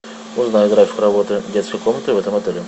узнай график работы детской комнаты в этом отеле